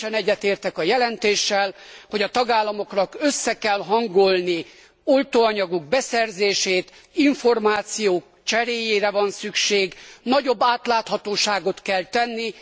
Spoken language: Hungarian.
Teljesen egyetértek a jelentéssel, hogy a tagállamoknak össze kell hangolni oltóanyagok beszerzését, információ cseréjére van szükség, nagyobb átláthatóságot kell tenni.